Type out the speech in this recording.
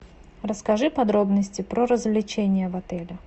расскажи подробности про развлечения в отеле